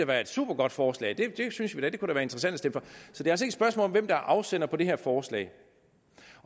være et supergodt forslag det synes vi da kunne være interessant at om hvem der er afsender på det her forslag